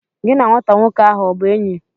Gi na nwata nwoke ahụ ọ bụ enyi?